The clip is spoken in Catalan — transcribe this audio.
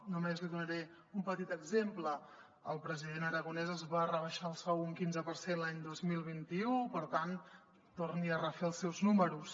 només li donaré un petit exemple el president aragonès es va rebaixar el sou un quinze per cent l’any dos mil vint u per tant torni a refer els seus números